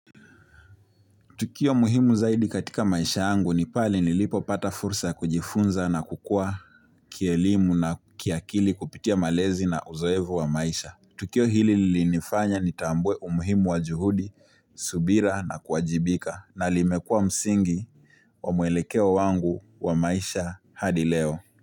Tukio muhimu zaidi katika maisha yangu ni pale nilipopata fursa ya kujifunza na kukua kielimu na kiakili kupitia malezi na uzoefu wa maisha. Tukio hili li nifanya ni tambue umuhimu wa juhudi, subira na kuajibika na limekua msingi wa muelekeo wangu wa maisha hadi leo.